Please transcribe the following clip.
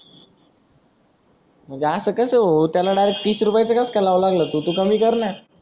म्हणजे अस कस हो त्याला डायरेक्ट तीस रुपया च कस का लाऊ लागला तु कमी करना